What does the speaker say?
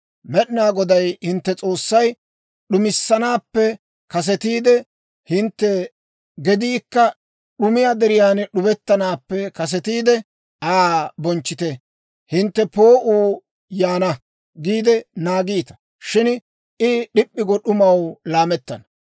Med'inaa Goday hintte S'oossay d'umissanaappe kasetiide, hintte gediikka d'umiyaa deriyaan d'ubettanaappe kasetiide, Aa bonchchite. Hintte, «Poo'uu yaana» giide naagiita; shin I d'ip'p'i go d'umaw laammana.